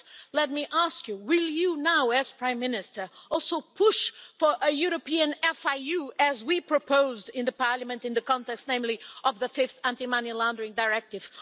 But let me ask you will you now, as Prime Minister, also push for a European FIU, as we proposed in the Parliament in the context namely of the fifth anti money laundering directive?